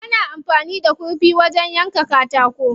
Ana amfani da kurfi wajen yanka katako.